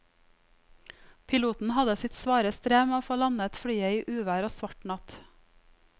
Piloten hadde sitt svare strev med å få landet flyet i uvær og svart natt.